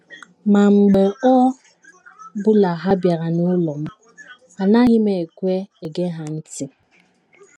Ma, mgbe ọ bụla Ha bịara n’ụlọ m, anaghị m ekwe ege ha ntị.